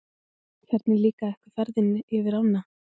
Hvernig líkaði ykkur ferðin yfir ánna?